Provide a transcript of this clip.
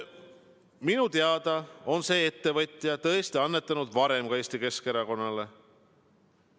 Minu teada on see ettevõtja tõesti annetanud ka varem Eesti Keskerakonnale.